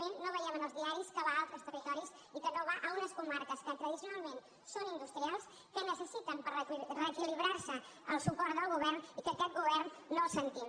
no ho veiem en els diaris que va a altres territoris i que no va a unes comarques que tra·dicionalment són industrials que necessiten per ree·quilibrar·se el suport del govern i aquest govern no el sentim